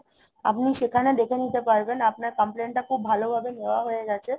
আপনি সেখানে দেখে নিতে পারবেন আপনার complain টা খুব ভালো ভাবে নেয়া হয়ে গেছে